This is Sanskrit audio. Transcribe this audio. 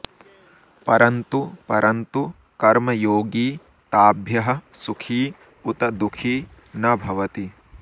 परन्तु परन्तु कर्मयोगी ताभ्यः सुखी उत दुःखी न भवति